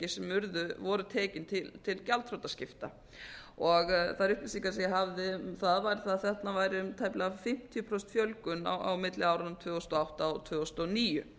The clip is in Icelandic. sem urðu voru tekin til gjaldþrotaskipta þær upplýsingar sem ég hafði um það að þarna væri um tæplega fimmtíu prósent fjölgun á milli áranna tvö þúsund og átta og tvö þúsund og níu